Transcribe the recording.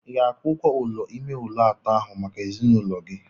Ị ga-akwụ ụgwọ ụlọ ime ụlọ atọ ahụ maka ezinụlọ gị?